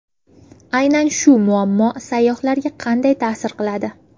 Aynan shu muammo sayyohlarga qanday ta’sir qiladi?